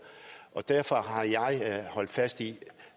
derfor har jeg holdt fast i at